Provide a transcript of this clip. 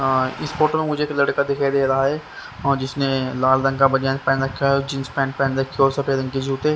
इस फोटो में मुझे एक लड़का दिखाई दे रहा है और जिसने लाल रंग का बनियान पहन रखा है और जींस पेंट रखे और सफेद रंग के जूते--